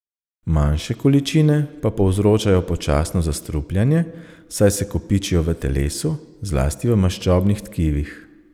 Manjše količine pa povzročajo počasno zastrupljanje, saj se kopičijo v telesu, zlasti v maščobnih tkivih.